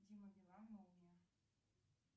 дима билан молния